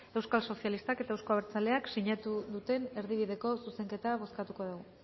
eusko sozialistak eta euzko abertzaleak sinatu duten erdibideko zuzenketa bozkatuko dugu